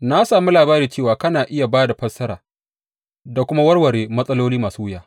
Na sami labari cewa kana iya ba da fassara da kuma warware matsaloli masu wuya.